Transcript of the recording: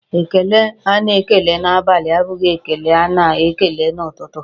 Ekele a na-ekele n'abali abụghị ekele a na-ekele n'ụtụtụ.